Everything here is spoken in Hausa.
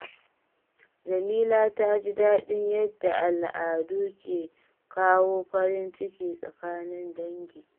Jamila ta ji daɗin yadda al’adu ke kawo farin ciki tsakanin dangi.